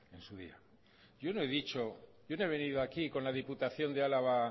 en su día yo no he venido aquí con la diputación de álava